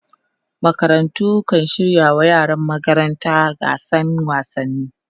makarantu kan shirya wa yaran magaranta gasan wasanni